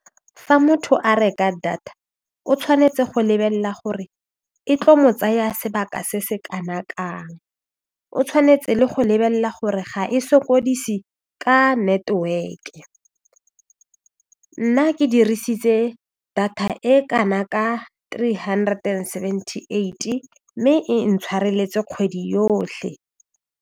Fa motho a reka data o tshwanetse go lebelela gore e tlo mo tsaya sebaka se se kana kang o tshwanetse go lebelela gore ga e sokodise ka network-e nna ke dirisitse data e kana ka three hundred and seventy eighty mme e ntshwareletse kgwedi yotlhe.